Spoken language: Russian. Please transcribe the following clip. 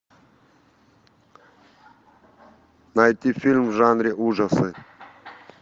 найти фильм в жанре ужасы